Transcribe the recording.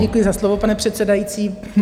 Děkuji za slovo, pane předsedající.